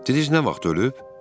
Dediniz nə vaxt ölüb?